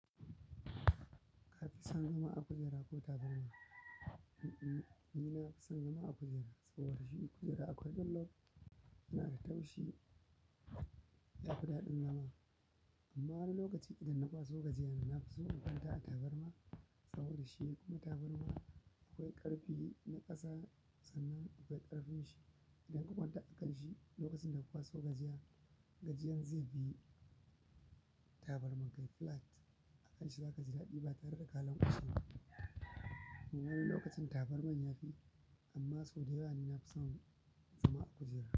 Ka fi son zama a kujera ko tabarma? Ni nafi son zama a kujera saboda shi kujera akwai ɗonllof yana da taushi, ya fi daɗin zama. Amma wani lokaci idan na kwaso gajiyan na, na fi so in kwanta a tabarma saboda shi kuma tabarma akwai ƙarfi na ƙasa sannan akwai ƙarfin shi. Idan ka kwanta a kan shi lokacin da ka kwaso gajiyan, gajiyan zai biyi. Tabarma kai flat a kan shi zaka ji daɗi ba tare da ka lanƙwashe ba. Wani lokacin tabarma ya fi, amma sau da yawa ni nafi son zama a kujera.